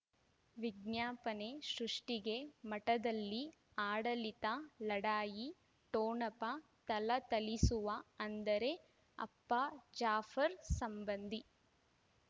ವಿಜ್ಞಾಪನೆ ಸೃಷ್ಟಿಗೆ ಮಠದಲ್ಲಿ ಆಡಳಿತ ಲಢಾಯಿ ಠೊಣಪ ಥಳಥಳಿಸುವ ಅಂದರೆ ಅಪ್ಪ ಜಾಫರ್ ಸಂಬಂಧಿ